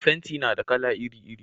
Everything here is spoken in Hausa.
fenti na da kala iri iri